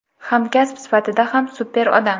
hamkasb sifatida ham super odam.